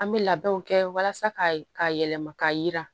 An bɛ labɛnw kɛ walasa ka yɛlɛma k'a yira